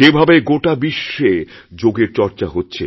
যেভাবে গোটা বিশ্বে যোগের চর্চা হচ্ছে